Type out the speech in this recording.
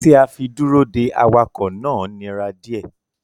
Ti a fi duro dè awakọ náà nira diẹ.